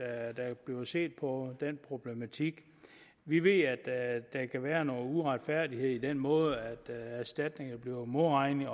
at der bliver set på den problematik vi ved at der kan være noget uretfærdighed i den måde erstatninger bliver modregnet